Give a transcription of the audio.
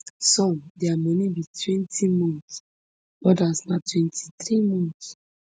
some dia moni be twenty months odas na twenty-three months